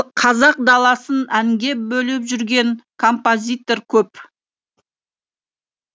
қазақ даласын әнге бөлеп жүрген композитор көп